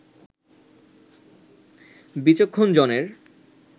বিচক্ষণ জনের